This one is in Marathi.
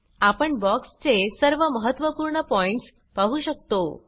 आपण बॉक्स चे सर्व महत्वपूर्ण पॉइण्ट्स पाहु शकतो